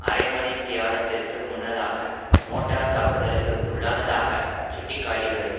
அரைமணித்தியாலத்திற்கு முன்னதாக மோட்டார் தாக்குதலுக்கு உள்ளானதாக சுட்டி காட்டியுள்ளது